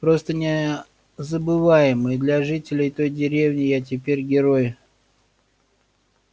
просто незабываемо и для жителей той деревни я теперь герой